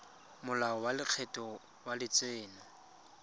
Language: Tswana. molao wa lekgetho wa letseno